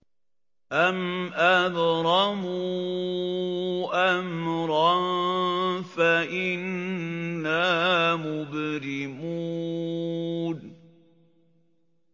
أَمْ أَبْرَمُوا أَمْرًا فَإِنَّا مُبْرِمُونَ